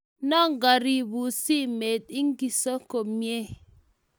Ngabirun simet igiso komnyei?